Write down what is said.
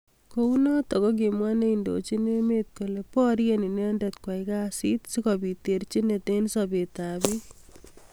Kounotok kokimwa neindojin emet kole borye inendet kwai kasit sikobit terjinet eng sabet ab bik.